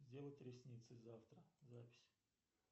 сделать ресницы завтра запись